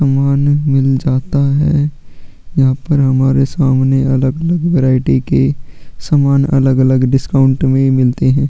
सामान मिल जाता है यहाँ पर हमारे सामने अलग -अलग वेराइटी के सामान अलग -अलग डिस्काउंट में मिलते है।